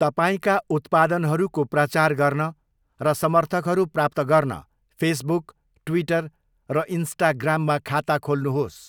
तपाईँका उत्पादनहरूको प्रचार गर्न र समर्थकहरू प्राप्त गर्न फेसबुक, ट्विटर र इन्स्टाग्राममा खाता खोल्नुहोस्।